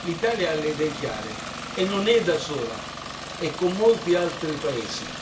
L'Italia ha le idee chiare e non è da sola, è con molti altri paesi.